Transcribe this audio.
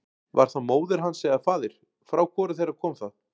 Var það móðir hans eða faðir, frá hvoru þeirra kom það?